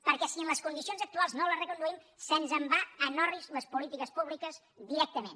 perquè si en les condicions actuals no les reconduïm se’ns en van en orris les polítiques públiques directament